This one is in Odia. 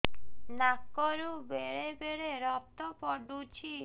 ନାକରୁ ବେଳେ ବେଳେ ରକ୍ତ ପଡୁଛି